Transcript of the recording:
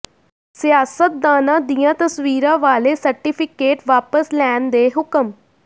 ਸਿਆਸਤਦਾਨਾਂ ਦੀਆਂ ਤਸਵੀਰਾਂ ਵਾਲੇ ਸਰਟੀਫਿਕੇਟ ਵਾਪਸ ਲੈਣ ਦੇ ਹੁਕਮ